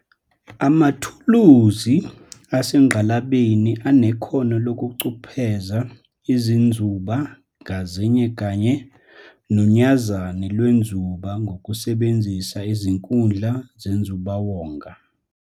Amathuluzi asengqalabeni anekhono lokucupheza izinzuba ngazinye kanye nonyazani lwenzuba ngokusebenzisa izinkundla zenzubawonga.